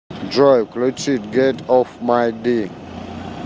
джой включить гет оф май ди